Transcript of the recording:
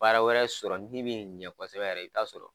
Baara wɛrɛ sɔrɔ min be ɲɛ kɔsɛbɛ yɛrɛ i bɛ t'a sɔrɔ